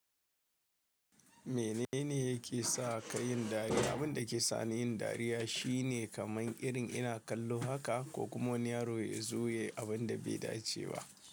Menene yake sa ka yin dariya? Abin da ke sani yin dariya shine kaman irin ina kallo haka ko kuma wani yaro ya zo ya yi abin da bai dace ba.